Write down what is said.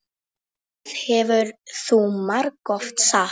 Það hefur þú margoft sagt.